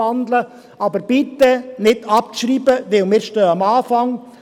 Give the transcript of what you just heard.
Aber schreiben Sie bitte nicht ab, denn wir stehen am Anfang.